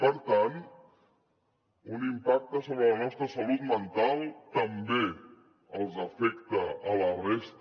per tant un impacte sobre la nostra salut mental també els afecta a la resta